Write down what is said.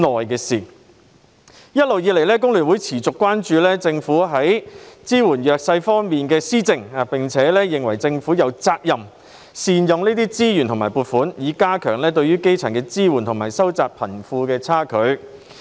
一直以來，香港工會聯合會持續關注政府支援弱勢社群的措施，並認為政府有責任善用資源和撥款，以加強對基層的支援及收窄貧富差距。